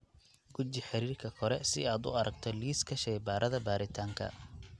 Guji xiriirka kore si aad u aragto liiska shaybaarada baaritaanka.